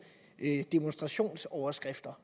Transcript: demonstrationsoverskrifter